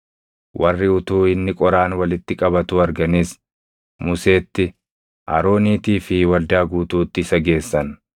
Warri utuu inni qoraan walitti qabatuu arganis Museetti, Arooniitii fi waldaa guutuutti isa geessan;